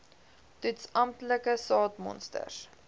toets amptelike saadmonsters